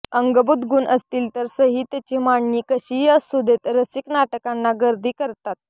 अंगभूत गुण असतील तर संहितेची मांडणी कशीही असू देत रसिक नाटकांना गर्दी करतात